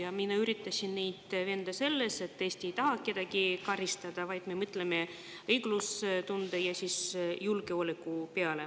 Ma olen üritanud neid veenda selles, et Eesti ei taha kedagi karistada, vaid me mõtleme õiglustunde ja julgeoleku peale.